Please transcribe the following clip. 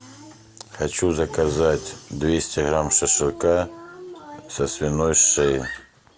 хочу заказать двести грамм шашлыка со свиной шеи